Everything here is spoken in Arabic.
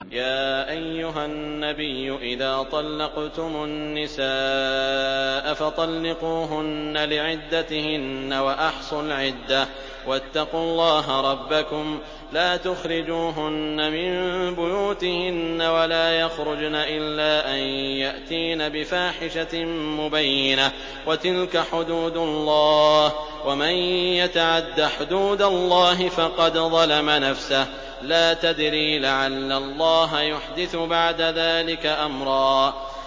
يَا أَيُّهَا النَّبِيُّ إِذَا طَلَّقْتُمُ النِّسَاءَ فَطَلِّقُوهُنَّ لِعِدَّتِهِنَّ وَأَحْصُوا الْعِدَّةَ ۖ وَاتَّقُوا اللَّهَ رَبَّكُمْ ۖ لَا تُخْرِجُوهُنَّ مِن بُيُوتِهِنَّ وَلَا يَخْرُجْنَ إِلَّا أَن يَأْتِينَ بِفَاحِشَةٍ مُّبَيِّنَةٍ ۚ وَتِلْكَ حُدُودُ اللَّهِ ۚ وَمَن يَتَعَدَّ حُدُودَ اللَّهِ فَقَدْ ظَلَمَ نَفْسَهُ ۚ لَا تَدْرِي لَعَلَّ اللَّهَ يُحْدِثُ بَعْدَ ذَٰلِكَ أَمْرًا